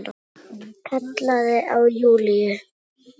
Kallaði á Júlíu.